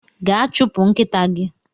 Gaa chụpụ nkịta gi!